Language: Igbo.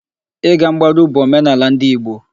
Ị ga mgbaru bụ omenala ndị Igbo.